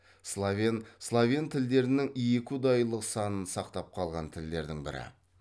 словен словен тілдерінің екіұдайылық санын сақтап қалған тілдердің бірі